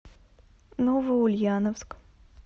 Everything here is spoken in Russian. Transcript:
новоульяновск